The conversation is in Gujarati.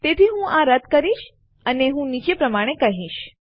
તેથી હું આ રદ કરીશ અને હું નીચે પ્રમાણે કહીશ